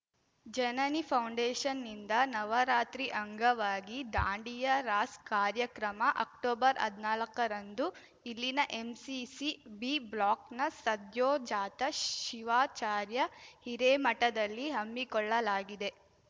ಜನನಿ ಪೌಂಡೇಷನ್‌ನಿಂದ ನವರಾತ್ರಿ ಅಂಗವಾಗಿ ದಾಂಡಿಯಾ ರಾಸ್‌ ಕಾರ್ಯಕ್ರಮ ಅಕ್ಟೊಬರ್ಹದ್ನಾಲಕ್ಕರಂದು ಇಲ್ಲಿನ ಎಂಸಿಸಿ ಬಿ ಬ್ಲಾಕ್‌ನ ಸದ್ಯೋಜಾತ ಶಿವಾಚಾರ್ಯ ಹಿರೇಮಠದಲ್ಲಿ ಹಮ್ಮಿಕೊಳ್ಳಲಾಗಿದೆ